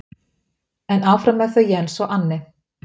En áfram með þau Jens og Anne.